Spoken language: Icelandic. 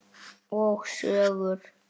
Og sögur.